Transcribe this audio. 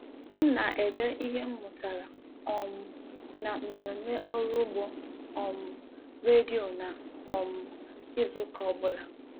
M na ede ihe m mụtara um na mmemme ọrụ ugbo um redio na um izu ụka ọbụla